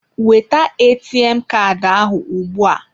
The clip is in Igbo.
Weta ATM Kaadị ahụ ugbua.